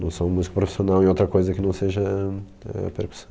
Não sou um músico profissional em outra coisa que não seja, eh, percussão.